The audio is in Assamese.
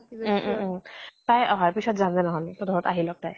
উম উম উম । তাই অহাৰ পিছত যাম দে নহলে তহতৰ ঘৰত আহি লওক তাই।